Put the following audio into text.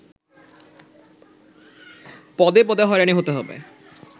পদে পদে হয়রানি হতে হবে